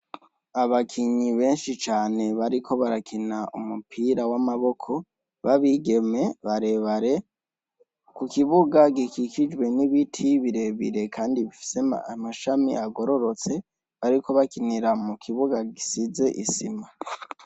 Abakinyi benshi cane bariko barakin' umupira w' amaboko ba bigeme barebare, ku kibuga gikikujwe n' ibiti birebire kandi bifis' amasham' agororots' ariko bakinira mukibuga gisiz' isima.